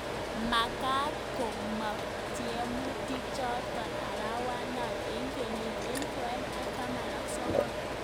Makat komong tiemutik jotok arawana eng ekenyit elibu aeng ak taman ak sokol.